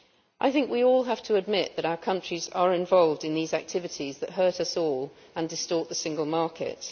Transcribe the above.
I think we all have to admit that our countries are involved in these activities that hurt us all and distort the single market.